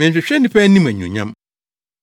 “Menhwehwɛ nnipa anim anuonyam.